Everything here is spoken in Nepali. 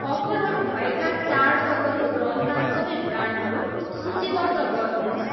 अफरहरू भएका चाडपर्वको रङका सबै ब्रान्डहरू सूचीबद्ध गर्नुहोस्।